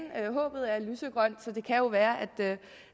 håbet er lysegrønt så det kan jo være